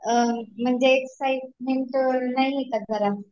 म्हणजे एक्साईटमेन्ट नाहीये का जरा